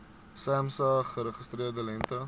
samsa geregistreerde lengte